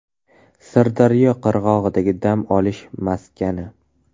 Sirdaryo qirg‘og‘idagi dam olish maskani.